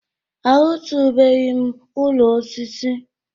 Ahụtụbeghị m ụlọ osisi.